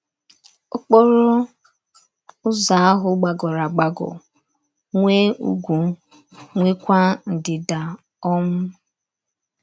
Okporo ụzọ ahụ gbagọrọ agbagọ, nwee ugwu, nweekwa ndida um.